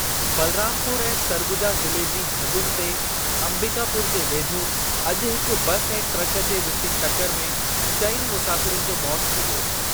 बलरामपुर ऐं सरगुजा ज़िले जी हदुनि ते अंबिकापुर जे वेझो अॼु हिकु बसि ऐं ट्रक जे विचु टकरु में चइनि मुसाफ़िरनि जो मौति थी वियो।